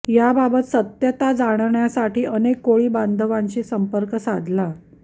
याबाबत सत्यता जाण्यासाठी अनेक कोळी बांधवांशी सम्पर्क साधला